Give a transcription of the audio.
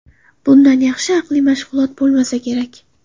Bundan yaxshi aqliy mashg‘ulot bo‘lmasa kerak.